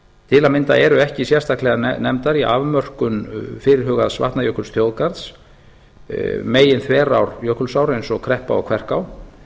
til að mynda eru ekki sérstaklega nefndar í afmörkun fyrirhugaðs vatnajökulsþjóðgarðs meginþverár jökulsár eins og kreppa og kverká